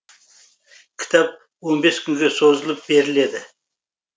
кітап он бес күнге созылып беріледі